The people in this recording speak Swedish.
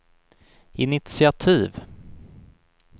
initiativ